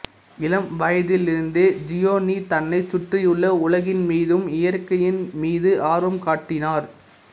இளம் வயதிலிருந்தே ஜியோனி தன்னைச் சுற்றியுள்ள உலகின் மீதும் இயற்கையின் மீது ஆர்வம் காட்டினார்